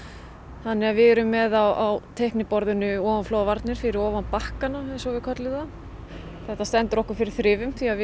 þannig að við erum með á teiknboðinu ofanflóðavarnir fyrir ofan Bakka eins og við köllum það þetta stendur okkur fyrir þrifum því að við